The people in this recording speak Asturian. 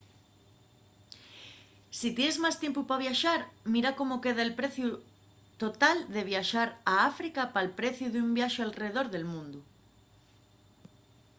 si tienes más tiempu pa viaxar mira cómo queda’l preciu total de viaxar a áfrica pal preciu d’un viaxe alredor del mundu